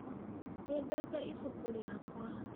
Nĩndate ĩbũkũ rĩakwa.